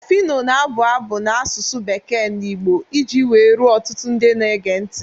Phyno na-abụ abụ n'asụsụ bekee na Igbo iji wee ruo ọtụtụ ndị na-ege ntị.